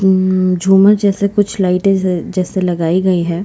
उम् झूमर जैसा कुछ लाइटें जैसा जैसे लगाई गई हैं।